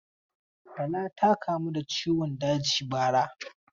Tala ta kamu da ciwon daji bara.